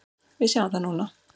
Við sjáum það núna.